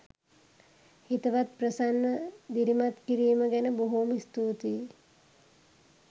හිතවත් ප්‍රසන්න දිරිමත් කිරීම ගැන බොහොම ස්තුතියි.